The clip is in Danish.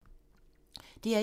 DR1